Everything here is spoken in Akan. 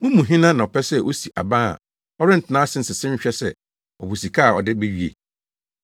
“Mo mu hena na ɔpɛ sɛ osi aban a ɔrentena ase nsese nhwɛ sɛ ɔwɔ sika a ɔde bewie?